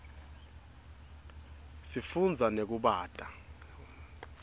sifunza nekubata